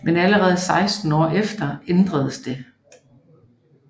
Men allerede 16 år efter ændredes det